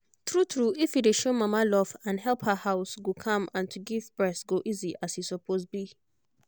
tru tru if you dey show mama love and help her house go calm and to give breast go easy as e suppose be